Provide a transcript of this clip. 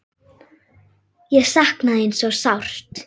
Ég sakna þín svo sárt.